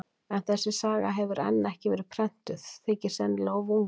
En þessi saga hefur enn ekki verið prentuð, þykir sennilega of ung.